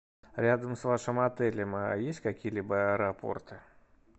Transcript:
рядом с вашим отелем есть какие либо аэропорты